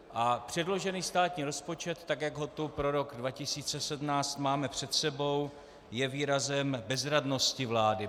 A předložený státní rozpočet, tak jak ho tu pro rok 2017 máme před sebou, je výrazem bezradnosti vlády.